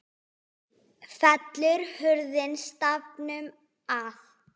Fellur hurðin stafnum að.